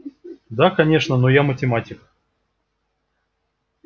да конечно но я математик